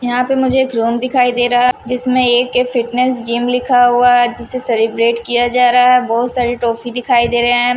यहां पे मुझे एक रूम दिखाई दे रहा है जिसमें एक फिटनेस जिम लिखा हुआ हैजिसे सेलिब्रेट किया जा रहा है बहुत सारी टॉफी दिखाई दे रहे हैं ।